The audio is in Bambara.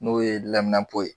N'o ye lɛmunɛnpo ye.